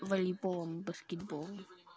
волейболом баскетболом